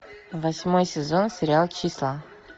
восьмой сезон сериал числа